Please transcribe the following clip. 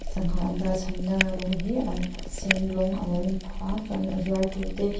sangha an dahchhanna rawng hi a sen rawng a lo in phah a chuan a zuartute--